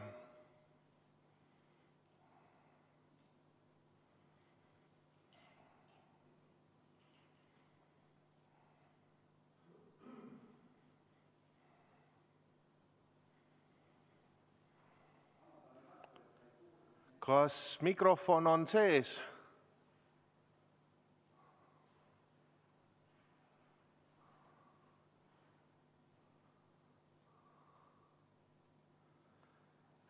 Kas mikrofon on sees?